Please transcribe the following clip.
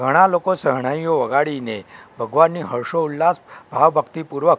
ઘણા લોકો સહણાઈઓ વગાડીને ભગવાનને હર્ષોલ્લાસ ભાવભક્તિપૂર્વક--